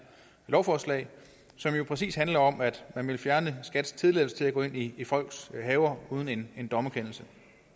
lovforslag som jo præcis handler om at man vil fjerne skats tilladelse til at gå ind i i folks haver uden en dommerkendelse